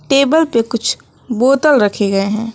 Table पे कुछ बोतल रखे गए हैं।